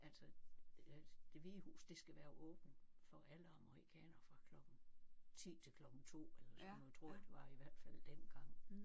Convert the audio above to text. Altså Det Hvide Hus det skal være åbent for alle amerikanere fra klokken 10 til klokken 2 eller sådan noget tror jeg det var i hvert fald dengang